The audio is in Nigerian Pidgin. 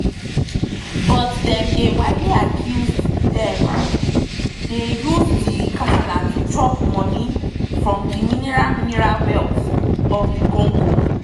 but dem dey widely accused say dem dey use di kasala to chop money from di mineral mineral wealth of dr congo.